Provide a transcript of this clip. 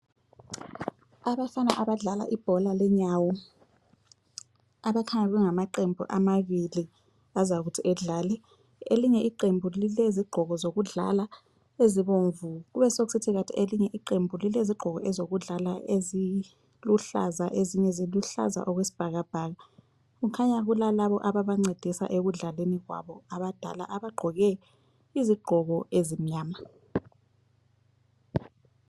Abafana abadlala ibhola lenyawo, abakhanya bengama qembu amabili azakuthi adlale. Elinye iqembu lilezigqoko zokudlala ezibomvu. Kube sekusithi elinye iqembu lilezokudlala eziluhlaza ezinye ziluhlaza okwesibhakabhaka. Kukhanya kulalabo ababancedisa ekudlaleni kwabo, abadala abagqoke izigqoko ezimnyama.